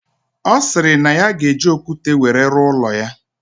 Osiri na ya ga eji okwute were ruo ulo ya.